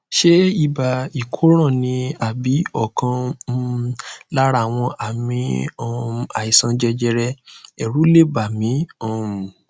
ṣé ibà ìkóràn ni àbí ọkan um lára àwọn àmì um àìsàn jẹjẹrẹ èrù lè bà mí um